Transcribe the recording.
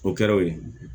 O kɛra o ye